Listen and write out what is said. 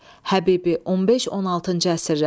Həbibi, 15-16-cı əsrlər.